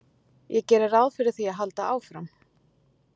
Ég geri ráð fyrir því að halda áfram.